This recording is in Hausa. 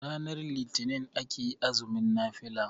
ranar litinin ake azumin nafila